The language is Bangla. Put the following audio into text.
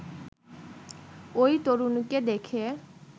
ওই তরুণীকে দেখে